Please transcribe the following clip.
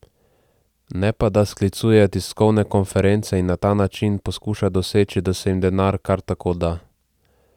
Ne pa da sklicuje tiskovne konference in na ta način poskuša doseči, da se jim denar kar tako da.